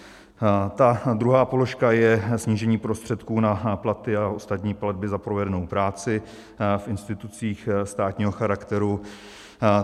Ta druhá položka je snížení prostředků na platy a ostatní platby za provedenou práci v institucích státního charakteru.